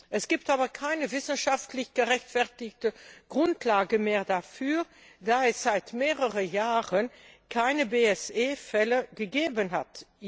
Es gibt aber keine wissenschaftlich gerechtfertigte Grundlage mehr dafür, da es seit mehreren Jahren hier bei uns keine BSE Fälle mehr gegeben hat.